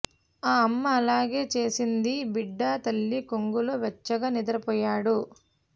ఆ అమ్మ అలాగే చేసింది బిడ్డ తల్లి కొంగులో వెచ్చగా నిద్రపోయాడు